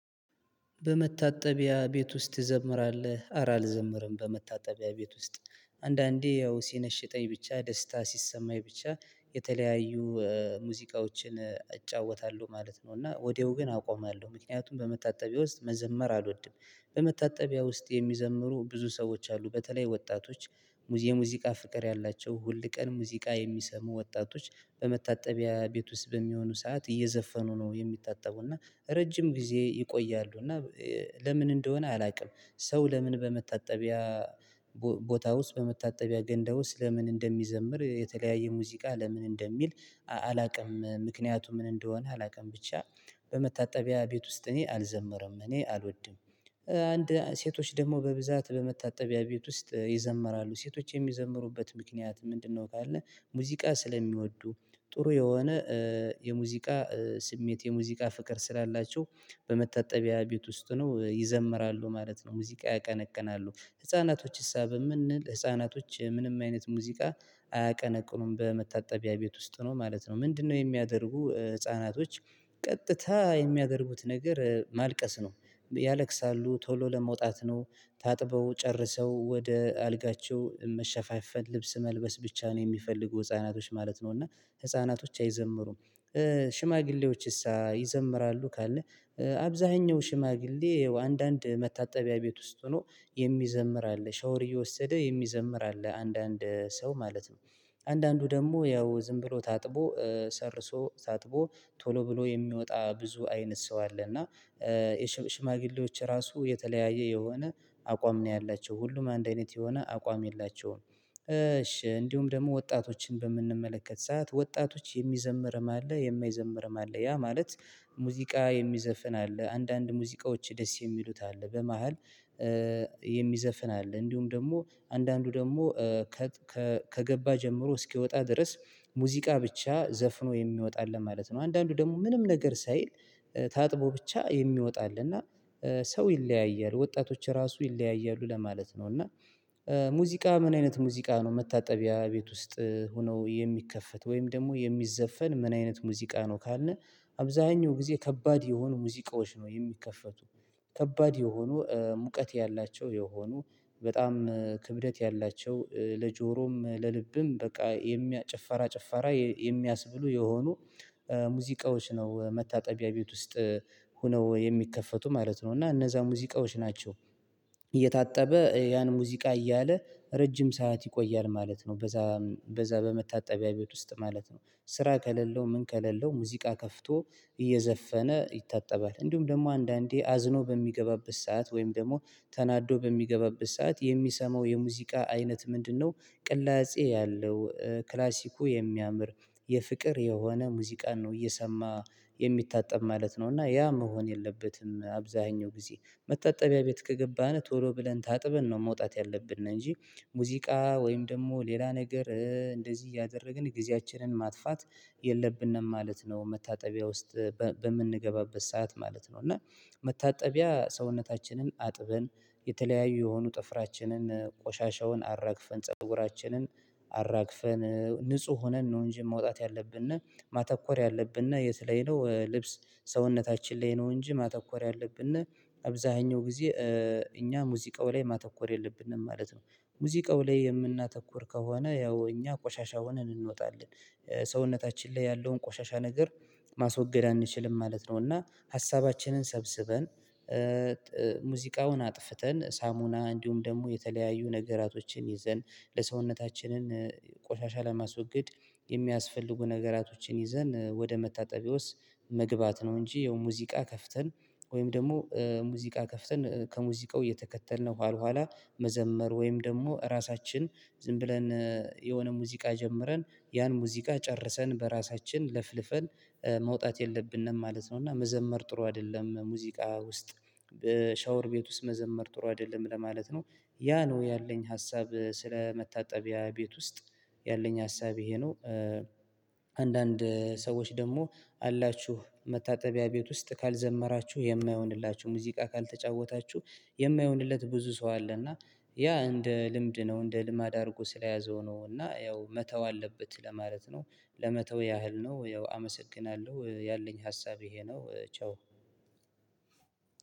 በመታጠቢያ ቤት ውስጥ ትዘምራለህ? አረ አልዘምርም በመታጠቢያ ቤት ውስጥ አንዳንዴ ያው ሲነሽጠኝ ብቻ ደስታ ሲሰማኝ ብቻ የተለያዩ ሙዚቃዎችን እጫወታለሁ ማለት ነው። እና ወዲያው ግን አቆማለሁ ምክንያቱም በመታጠቢያ ውስጥ መዘመር አልወድም። በመታጠቢያ ውስጥ የሚዘምሩ ብዙ ሰዎች አሉ በተለይ ወጣቶች። የሙዚቃ ፍቅር ያላቸው ሁልቀን ሙዚቃ የሚሰሙ ወጣቶች በመታጠቢያ ቤት ውስጥ በሚሆኑ ሰዓት እየዘፈኑ ነው የሚታጠቡ እና ረጅም ጊዜ ይቆያሉ እና ለምን እንደሆነ አላውቅም። ሰው ለምን በመታጠቢያ ቦታ ውስጥ በመታጠቢያ ገንዳ ውስጥ ለምን እንደሚዘምር የተለያየ ሙዚቃ ለምን እንደሚል አላውቅም። ምክንያቱ ምን እንደሆነ አላውቅም። ብቻ በመታጠቢያ ቤት ውስጥ እኔ አልዘመረም እኔ አልወድም። አንድ ሴቶች ደግሞ በብዛት በመታጠቢያ ቤት ውስጥ ይዘምራሉ ሴቶች የሚዘምሩበት ምክንያት ምንድነው? ካልነ ሙዚቃ ስለሚወዱ ጥሩ የሆነ የሙዚቃ ስሜት የሙዚቃ ፍቅር ስላላቸው በመታጠቢያ ቤት ውስጥ ሁነው ይዘምራሉ ማለት ነው። ሙዚቃ ያቀነቅናሉ ህፃናቶች ሳ ብንል ህፃናቶች ምንም አይነት ሙዚቃ አያቀነቅኑም በመታጠቢያ ቤት ውስጥ ሁነው ማለት ነው። ምንድነው የሚያደርጉ ህፃናቶች ቀጥታ የሚያደርጉት ነገር ማልቀስ ነው። ያለቅሳሉ ቶሎ ለመውጣት ነው ታጥበው ጨርሰው ወደ አልጋቸው መሸፋፈን ልብስ መልበስ ብቻ ነው የሚፈልጉ ህፃናቶች ማለት ነው። እና ህፃናቶች አይዘምሩም። ሽማግሌዎችሳ ይዘምራሉ ካልነ አብዛኛው ሽማግሌ አንዳንድ መታጠቢያ ቤት ውስጥ ሆኖ የሚዘምር አለ ሻወር እየወሰደ የሚዘምር አለ አንዳንድ ሰው ማለት ነው። አንዳንዱ ደግሞ ያው ዝም ብሎ ታጥቦ ጨርሶ ታጥቦ ቶሎ ብሎ የሚወጣ ብዙ አይነት ሰው አለ። እና ሽማግሌዎች ራሱ የተለያየ የሆነ አቋም ነው ያላቸው ሁሉም አንድ አይነት የሆነ አቋም የላቸውም እሺ እንዲሁም ደግሞ ወጣቶችን በምንመለከት ሰዓት ወጣቶች የሚዘምርም አለ የማይዘምርም አለ። ያ ማለት ሙዚቃ የሚዘፍን አለ አንዳንድ ሙዚቃዎች ደስ የሚሉት አለ በመሃል እ የሚዘፍን አለ እንዲሁም ደግሞ አንዳንዱ ደግሞ ከገባ ጀምሮ እስኪወጣ ድረስ ሙዚቃ ብቻ ዘፍኖ የሚወጣ አለ ማለት ነው። አንዳንዱ ደግሞ ምንም ነገር ሳይል ታጥቦ ብቻ የሚወጣ አለ ና ሰው ይለያያል። ወጣቶች ራሱ ይለያያሉ ለማለት ነው። እና ሙዚቃ ምን አይነት ሙዚቃ ነው መታጠቢያ ቤት ውስጥ ሆነው የሚከፈት ወይም ደግሞ የሚዘፈን ምን አይነት ሙዚቃ ነው? ካልነ አብዛኛው ጊዜ ከባድ የሆኑ ሙዚቃዎች ነው የሚከፈቱ ከባድ የሆኑ ሙቀት ያላቸው የሆኑ በጣም ክብደት ያላቸው ለጆሮም ለልብም በቃ የሚያ ጭፋራ ጭፋራ የሚያስብሉ የሆኑ ሙዚቃዎች ነው። መታጠቢያ ቤት ውስጥ ሆነው የሚከፈቱ ማለት ነው እና እነዛ ሙዚቃዎች ናቸው። እየታጠበ ያን ሙዚቃ እያለ ረጅም ሰዓት ይቆያል ማለት ነው በዛ በዛ በመታጠቢያ ቤት ውስጥ ማለት ነው። ስራ ከሌለው ምን ከሌለው ሙዚቃ ከፍቶ እየዘፈነ ይታጠባል እንዲሁም ደግሞ አንዳንዴ አዝኖ በሚገባበት ሰዓት ወይም ደግሞ ተናዶ በሚገባበት ሰዓት የሚሰማው የሙዚቃ አይነት ምንድነው? ቅላጼ ያለው ክላሲኩ የሚያምር የፍቅር የሆነ ሙዚቃን ነው እየሰማ የሚታጠብ ማለት ነው። እና ያ መሆን የለበትም አብዛኛው ጊዜ መታጠቢያ ቤት ከገባን ቶሎ ብለን ታጥበን ነው መውጣት ያለብን እንጂ ሙዚቃ ወይም ደግሞ ሌላ ነገር እንደዚህ እያደረግን ጊዜያችንን ማጥፋት የለብንም ማለት ነው። መታጠቢያ ውስጥ በምንገባበት ሰዓት ማለት ነው እና መታጠቢያ ሰውነታችንን አጥበን የተለያዩ የሆኑ ጥፍራችንን ቆሻሻውን አራግፈን ፀጉራችንን አራግፈን ንጹህ ሆነን ነው እንጂ መውጣት ያለብን ማተኮር ያለብን የት ላይ ነው። ልብስ ሰውነታችን ላይ ነው እንጂ ማተኮር ያለብን አብዛኛው ጊዜ እኛ ሙዚቃው ላይ ማተኮር የለብንም ማለት ነው። ሙዚቃው ላይ የምናተኩር ከሆነ ያው እኛ ቆሻሻ ሆነን እንወጣለን ሰውነታችን ላይ ያለውን ቆሻሻ ነገር ማስወገድ አንችልም ማለት ነው። እና ሀሳባችንን ሰብስበን ሙዚቃውን አጥፍተን ሳሙና እንዲሁም ደግሞ የተለያዩ ነገራቶችን ይዘን ለሰውነታችንን ቆሻሻ ለማስወገድ የሚያስፈልጉ ነገራቶችን ይዘን ወደ መታጠቢያ ውስጥ መግባት ነው። እንጂ ያው ሙዚቃ ከፍተን ወይም ደግሞ ሙዚቃ ከፍተን ከሙዚቃው እየተከተልን ኋላ ኋላ መዘመር ወይም ደግሞ እራሳችን ዝም ብለን የሆነ ሙዚቃ ጀምረን ያን ሙዚቃ ጨርሰን በራሳችን ለፍልፈን መውጣት የለብንም ማለት ነው። እና መዘመር ጥሩ አይደለም ሙዚቃ ውስጥ በሻወር ቤት ውስጥ መዘመር ጥሩ አይደለም ለማለት ነው። ያ ነው ያለኝ ሀሳብ ስለ መታጠቢያ ቤት ውስጥ ያለኝ ሀሳብ ይሄ ነው። አንዳንድ ሰዎች ደግሞ አላችሁ መታጠቢያ ቤት ውስጥ ካልዘመራችሁ የማይሆንላችሁ ሙዚቃ ካልተጫወታችሁ የማይሆንለት ብዙ ሰው አለ እና ያ እንደ ልምድ ነው እንደ ልማድ አድርጎ ስለያዘው ነው እና ያው መተው አለበት ለማለት ነው። ለመተው ያህል ነው ያው አመሰግናለሁ ያለኝ ሀሳብ ይሄ ነው። ቻው